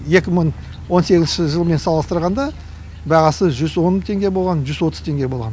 екі мың он сегізінші жылмен салыстырғанда бағасы жүз он теңге болған жүз отыз теңге болған